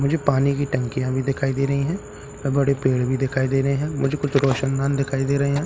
मुझे पानी की टंकिया भी दिखाई दे रही हैं बड़े पेड़ भी दिखाई दे रहे हैं है मुझे कुछ रौशनदान भी दिखाई दे रहे हैं।